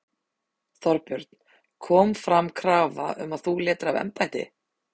Þorbjörn: Kom fram krafa um að þú létir af embætti?